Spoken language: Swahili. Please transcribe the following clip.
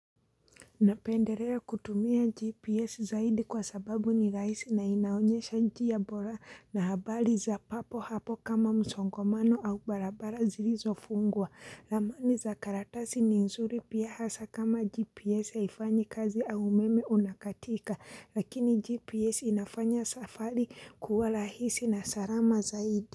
Napendelea kutumia GPS zaidi kwa sababu ni rahisi na inaonyesha njia bora na habari za papo hapo kama msongamano au barabara zilizofungwa. Ramani za karatasi ni nzuri pia hasa kama GPS haifanyi kazi au umeme unakatika. Lakini GPS inafanya safari kuwa rahisi na salama zaidi.